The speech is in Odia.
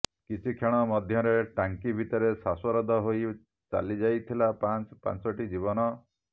କିଛି କ୍ଷଣ ମଧ୍ୟରେ ଟାଙ୍କି ଭିତରେ ଶ୍ୱାସରୁଦ୍ଧ ହୋଇ ଚାଲିଯାଇଥିଲା ପାଂଚ ପାଚଂଟି ଜୀବନ